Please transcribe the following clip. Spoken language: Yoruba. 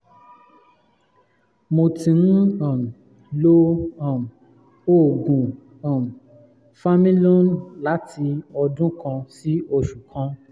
mo ti ń um lo um oògùn um familon láti ọdún kan sí oṣù kan